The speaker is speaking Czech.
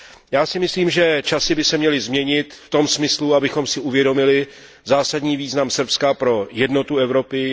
Já si myslím, že časy by se měly změnit v tom smyslu, abychom si uvědomili zásadní význam Srbska pro jednotu Evropy.